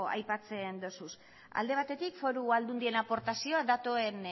aipatzen dituzu alde batetik foru aldundien aportazioa datuen